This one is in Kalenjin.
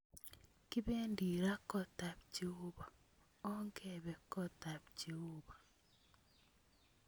Kibedi ra kotab cheobo, ogebe kotab jeobo.